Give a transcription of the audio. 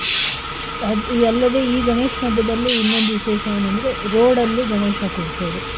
ಅಲ್ಲದೆ ಈ ಗಣೇಶ ಹಬ್ಬದಲ್ಲಿ ಇನ್ನೊಂದು ವಿಶೇಷ ಏನಂದ್ರೆ road ಅಲ್ಲಿ ಗಣೇಶ ಕೊರ್ಸದು.